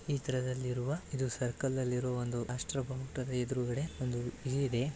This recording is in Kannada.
ಇದ್ರದಲ್ಲಿರುವ ಇದು ಸರ್ಕನ ಲ್ಲಿರುವ ಒಂದು ರಾಷ್ಟ್ರ ಬಾವುಟದ ಎದುರುಗಡೆ ಒಂದು ಇದು ಇದೆ --